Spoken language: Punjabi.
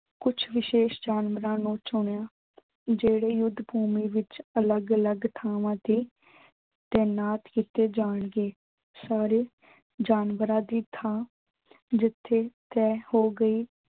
ਕੁੱਛ ਵਿਸ਼ੇਸ਼ ਜਾਨਵਰਾਂ ਨੂੰ ਚੁਣਿਆ। ਜਿਹੜੇ ਯੁੱਧ ਭੂਮੀ ਵਿੱਚ ਅਲੱਗ ਅਲੱਗ ਥਾਵਾਂ ਤੇ ਤਾਇਨਾਤ ਕੀਤੇ ਜਾਣਗੇ। ਸਾਰੇ ਜਾਨਵਰਾਂ ਦੀ ਥਾਂ ਜਿੱਥੇ ਤੈਅ ਹੋ ਗਈ